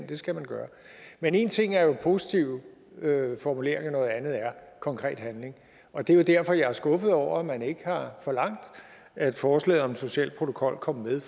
det skal man gøre men en ting er jo positive formuleringer noget andet er konkret handling og det er jo derfor jeg er skuffet over at man ikke har forlangt at forslaget om en social protokol kom med